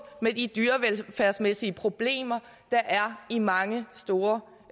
med de dyrevelfærdsmæssige problemer der er i mange store